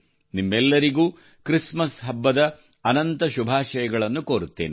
ನಿಮ್ಮೆಲ್ಲರಿಗೂ ಕ್ರಿಸ್ಮಸ್ ಹಬ್ಬದ ಅನಂತ ಶುಭಾಶಯಗಳನ್ನು ಕೋರುತ್ತೇನೆ